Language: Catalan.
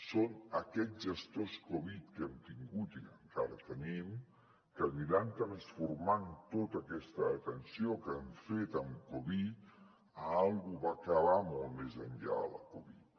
són aquests gestors covid que hem tingut i que encara tenim que aniran transformant tota aquesta atenció que han fet en covid en alguna cosa que va molt més enllà de la covid